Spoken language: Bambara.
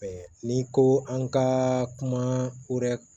n'i ko an ka kuma hɛrɛ